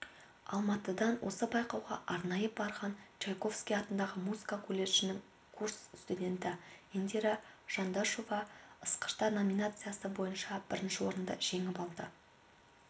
алматыдан осы байқауға арнайы барған чайковский атындағы музыка колледжінің курс студенті индира жандашова ысқыштар номинациясы бойынша бірінші орынды жеңіп алды